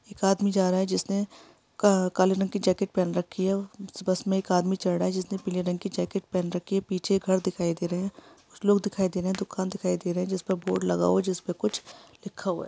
एक आदमी जा रहा है जिसने का काले रंग की जैकेट पहन रखी है| बस में एक आदमी चढ़ रहा है जिसने पीले रंग की जैकेट पहन रखी है| पीछे घर दिखाई दे रहे हैं कुछ लोग दिखाई दे रहे हैं दुकान दिखाई दे रहे हैं जिसपे बोर्ड लगा हुआ है जिस पर कुछ लिखा हुआ है।